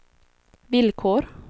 villkor